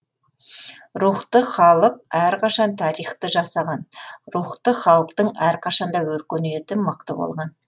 рухты халық әрқашан тарихты жасаған рухты халықтың әрқашан да өркениеті мықты болған